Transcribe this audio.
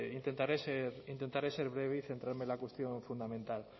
intentaré ser breve y centrarme en la cuestión fundamental